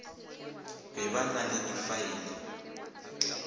be ba na le difaele